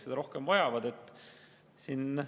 Nemad vajavad seda rohkem.